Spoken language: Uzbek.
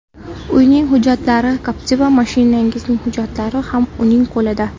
Uyning hujjatlari, Captiva mashinamizning hujjatlari ham uning qo‘lida.